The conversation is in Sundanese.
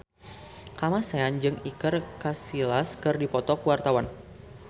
Kamasean jeung Iker Casillas keur dipoto ku wartawan